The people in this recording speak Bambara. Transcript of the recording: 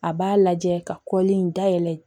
A b'a lajɛ ka kɔli in dayɛlɛ